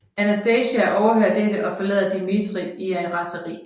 Anastasia overhører dette og forlader Dimitri i raseri